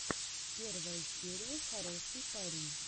первая серия хороший парень